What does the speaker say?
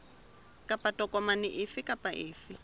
kapa tokomane efe kapa efe